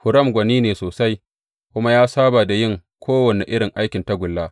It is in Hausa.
Huram gwani ne sosai kuma ya saba da yin kowane irin aikin tagulla.